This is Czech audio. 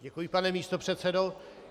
Děkuji, pane místopředsedo.